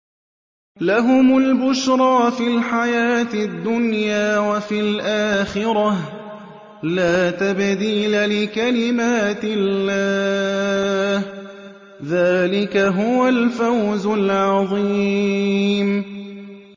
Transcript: لَهُمُ الْبُشْرَىٰ فِي الْحَيَاةِ الدُّنْيَا وَفِي الْآخِرَةِ ۚ لَا تَبْدِيلَ لِكَلِمَاتِ اللَّهِ ۚ ذَٰلِكَ هُوَ الْفَوْزُ الْعَظِيمُ